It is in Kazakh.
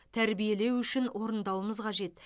тәрбиелеу үшін орындауымыз қажет